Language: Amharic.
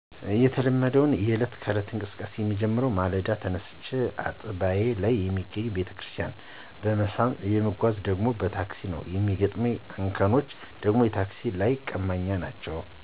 የተለመደው የ የእለት እንቅስቃሴዬ የሚጀምረው በማለዳ ተነስቼ አጥባዬ ላይ የሚገኘውን ቤተክርስቲያን በመሳም የምጓጓዘው ደግሞ በታክሲ ነው የሚገጥሙኝ እንከኖች ደግሞ የታክሲ ላይ ቀማኞች ናቸው።